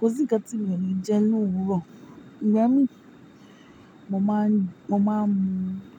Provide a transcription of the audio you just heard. Kò sí nkán tí mi o lè jẹ lòwúrọ̀. Igbami, mo máa ń mú